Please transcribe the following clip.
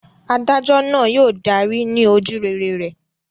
Adájọ́ náà yóò darí ní ojúrere rẹ̀.